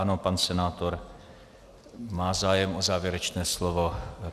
Ano, pan senátor má zájem o závěrečné slovo.